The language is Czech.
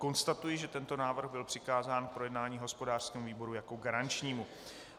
Konstatuji, že tento návrh byl přikázán k projednání hospodářskému výboru jako garančnímu.